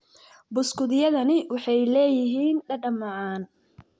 Buskutyadani waxay leeyihiin dhadhan macaan.